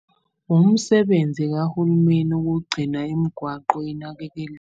Umsebenzi kahulumeni ukugcina imgwaqo inakekeliwe.